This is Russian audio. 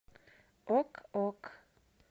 ок ок